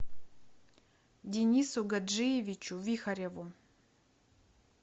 денису гаджиевичу вихареву